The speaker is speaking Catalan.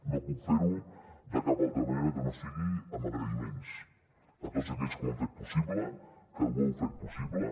no puc fer ho de cap altra manera que no sigui amb agraïments a tots aquells que ho han fet possible que ho heu fet possible